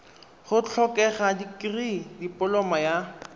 go tlhokega dikirii dipoloma ya